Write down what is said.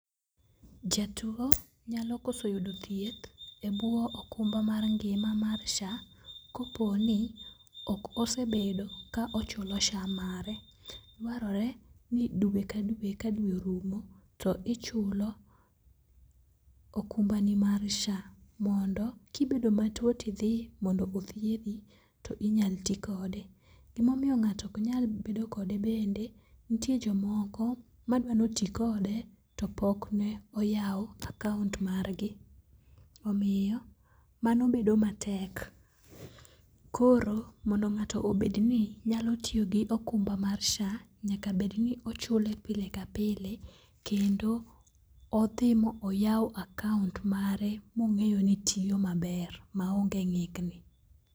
Jatuo nyalo koso yudo thieth e bwo okumba mar ngima mar SHA koponi ok osebedo ka ochulo SHA mare . Dwarore ni dwe ka dwe ka dwe orumo, to ichulo okumbani mar SHA mondo kibedo matuo tidhi mondo othiedhi tinyal ti kode. Gimomiyo ng'ato oknyal bedo kode bende ntie jomoko madwa notikode to pok ne oyaw akaont margi. Omiyo mano bedo matek koro mondo ng'ato obedni nyalo tiyo gokumba mar SHA, nyaka bedni ochule pile ka pile kendo odhi moyaw akaont mare mong'eyo ni tiyo maber maonge ng'ikni.